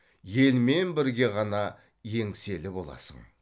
елмен бірге ғана еңселі боласың